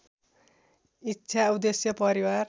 इच्छा उद्देश्य परिवार